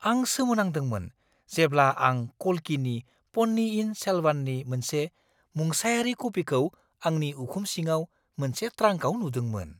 आं सोमोनांदोंमोन जेब्ला आं कल्किनि प'न्नियिन सेलवननि मोनसे मुंसायारि कपिखौ आंनि उखुम सिङाव मोनसे ट्रांकआव नुदोंमोन।